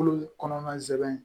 Kulu kɔnɔna sɛbɛn